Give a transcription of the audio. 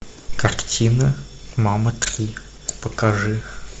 картина мама три покажи